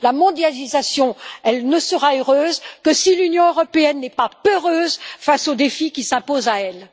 La mondialisation ne sera heureuse que si l'Union européenne n'est pas peureuse face aux défis qui s'imposent à elle.